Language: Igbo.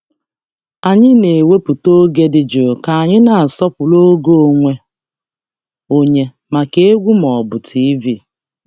Anyị na-ewepụta oge dị jụụ ka anyị na-asọpụrụ oge onwe onye maka egwu ma ọ bụ TV.